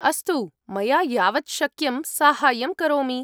अस्तु, मया यावत् शक्यं साहाय्यं करोमि।